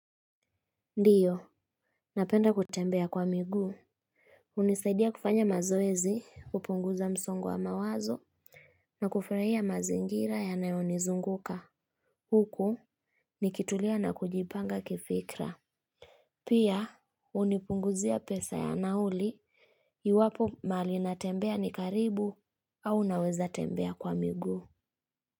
Ndiyo napenda kutembea kwa miguu hunisaidia kufanya mazoezi kupunguza msongo wa mawazo. Na kufurahia mazingira yanayo nizunguka huku nikitulia na kujipanga kifikra. Pia hunipunguzia pesa ya nauli. Iwapo mahali natembea ni karibu au naweza tembea kwa miguu.